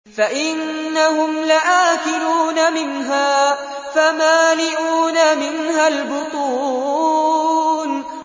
فَإِنَّهُمْ لَآكِلُونَ مِنْهَا فَمَالِئُونَ مِنْهَا الْبُطُونَ